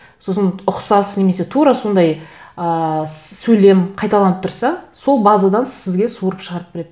сосын ұқсас немесе тура сондай ыыы сөйлем қайталанып тұрса сол базадан сізге суырып шығарып береді